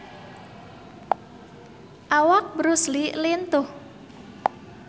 Awak Bruce Lee lintuh